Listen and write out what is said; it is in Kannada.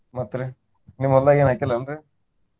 ಮತ್ತ್ ರಿ ನಿಮ್ಮ್ ಹೊಲ್ದಾಗ ಏನು ಹಾಕಿಲ್ಲಾ ಏನ್ರೀ?